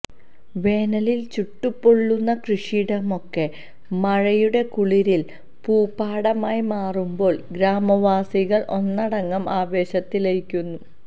വേനലിൽ ചുട്ടുപൊള്ളുന്ന കൃഷിയിടമാകെ മഴയുടെ കുളിരിൽ പൂപ്പാടമായി മാറുമ്പോൾ ഗ്രാമവാസികൾ ഒന്നടങ്കം ആവേശത്തിലായിരിക്കും